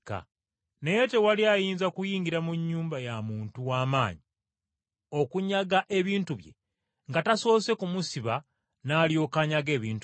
Naye tewali ayinza kuyingira mu nnyumba ya muntu w’amaanyi, okunyaga ebintu bye nga tasoose kumusiba n’alyoka anyaga ebintu bye.